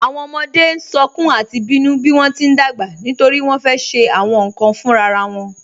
Awọn ọmọde sọ̀kún àti bínu bí wọn ti n dágbà nítorí wọn fẹ́ ṣe awọn nkan fúnrara won